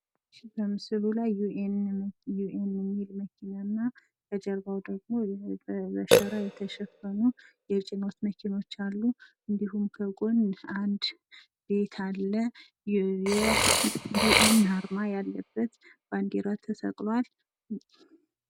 በምስሉ ላይ ዩኤን የሚል መኪናና ከጀርባው ደግሞ በሸራ የተሸፈኑ የጭነት መኪናዎች አሉ። እንዲሁም ከጎን አንድ ቤት አለ፤ የዩኤን አርማ ያለበት አርማ ተሰቅሏል።